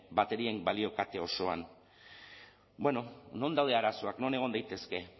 baterien balio kate osoan non daude arazoak non egon daitezke